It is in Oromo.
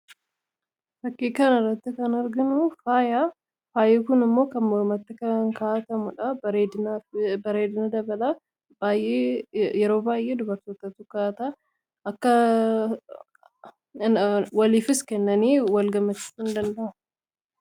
fakkii kana irratti kan arganu faaya kun immoo kan momatti kankaa'atamuudha bareedina dabalaa yeroo baay'ee dubartoota tu ka'ataa akka waliifis kennanii wa indanda'ama